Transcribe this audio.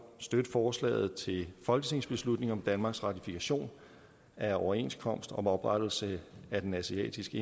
støtte forslaget til folketingsbeslutning om danmarks ratifikation af overenskomst om oprettelse af den asiatiske